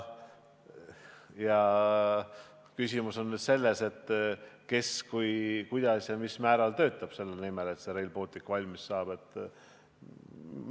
Küsimus on nüüd selles, kes kuidas ja mis määral töötab selle nimel, et Rail Baltic valmis saaks.